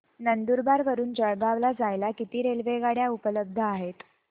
नंदुरबार वरून जळगाव ला जायला किती रेलेवगाडया उपलब्ध आहेत